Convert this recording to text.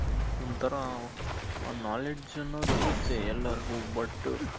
ಒಂಥರಾ ಒಂದ್ knowledge ಅನ್ನೋದ್ ಇರುತ್ತೆ ಎಲ್ಲರ್ಗೂ but